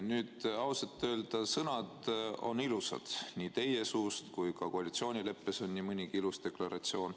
Nüüd, ausalt öeldes, sõnad on ilusad nii teie suust kuulduna kui ka koalitsioonileppest loetuna, seal on nii mõnigi ilus deklaratsioon.